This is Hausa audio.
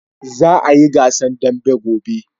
Za a yi gasan dambe ko?